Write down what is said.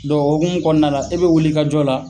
o hokumu kɔnɔna na i bɛ wuli ka jɔ la.